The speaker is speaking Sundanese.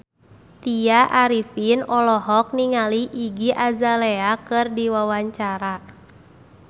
Tya Arifin olohok ningali Iggy Azalea keur diwawancara